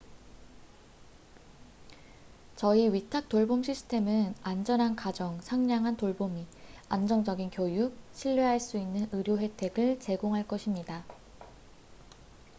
저희 위탁 돌봄 시스템은 안전한 가정 상냥한 돌보미 안정적인 교육 신뢰할 수 있는 의료 혜택을 제공할 것입니다